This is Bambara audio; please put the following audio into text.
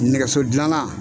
Nɛgɛso dilanna